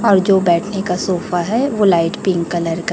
और जो बैठने का सोफा है वो लाइट पिंक कलर का --